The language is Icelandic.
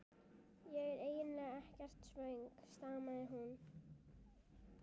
Ég er eiginlega ekkert svöng stamaði hún.